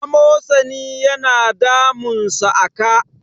amosani yana damunsa a ka